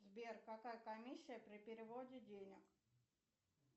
сбер какая комиссия при переводе денег